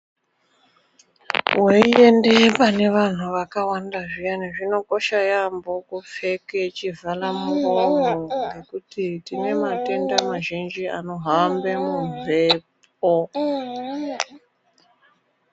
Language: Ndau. Weyiende pane vantu vakawanda zviyani ,zvinokosha yambo kupfeke chivhalamuromo ngekuti tinematenda mazhinji anohambe mumbepo.